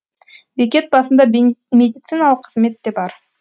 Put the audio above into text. бекет басында медициналық қызмет те бар